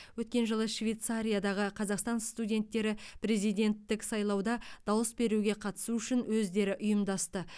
өткен жылы швейцариядағы қазақстан студенттері президенттік сайлауда дауыс беруге қатысу үшін өздері ұйымдасты